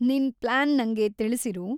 ನಿನ್‌ ಪ್ಲಾನ್‌ ನಂಗೆ ತಿಳ್ಸಿರು.